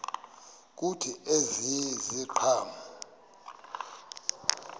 kuthi ezi ziqhamo